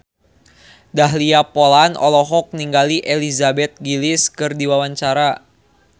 Dahlia Poland olohok ningali Elizabeth Gillies keur diwawancara